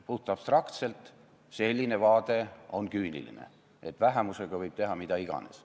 Puhtabstraktselt on selline vaade küüniline, et vähemusega võib teha mida iganes.